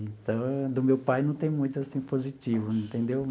Então, do meu pai não tem muito assim positivo, entendeu?